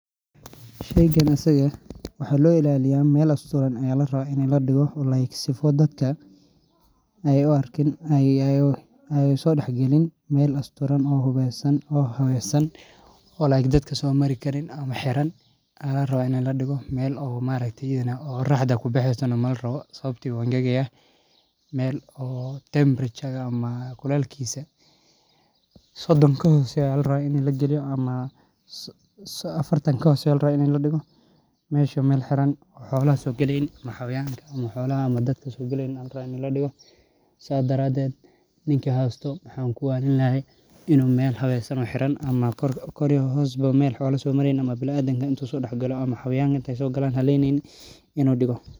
Sheygan isaga eh maxaa lo ilaliya meel asturan aya larawa in ladigo sifa dadka ee uso dax galin meel qoraxda kubaxesana lama rawo meel afartan ka hoseso meel xolaha ama dadka sogaleyni oo haleyneynin in u digo.